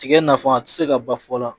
Tigɛ nafa a ti se ka ban fɔ la